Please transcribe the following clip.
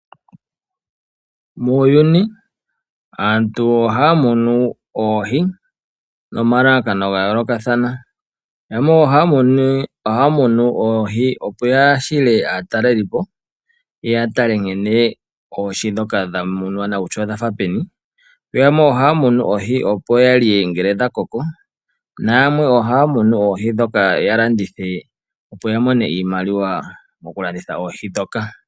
Muuyuni aantu ohaya munu oohi nomalalakano ga yoolokathana. Yamwe ohaya munu oohi, opo ya hile aatalelipo ye ye ya tale oohi ndhoka dha munwa kutya odha fa peni. Yamwe ohaya munu oohi, opo ya lye ngele dha koko, nayamwe ohaya munu oohi ndhoka ya landithe, opo ya mone iimaliwa mokulanditha oohi ndhoka.